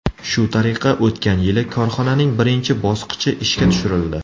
Shu tariqa o‘tgan yili korxonaning birinchi bosqichi ishga tushirildi.